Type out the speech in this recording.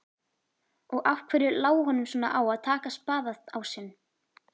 Og af hverju lá honum svona á að taka spaðaásinn?